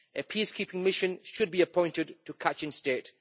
A peacekeeping mission should be appointed to Kachin State.